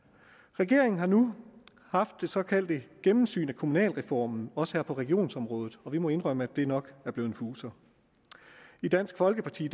regeringen har nu haft det såkaldte gennemsyn af kommunalreformen også her på regionsområdet og vi må indrømme at det nok er blevet en fuser i dansk folkeparti